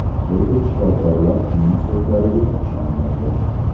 Lekin shifokorlar uning so‘zlariga ishonmaydi.